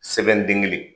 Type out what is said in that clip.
Sɛbɛn den kelen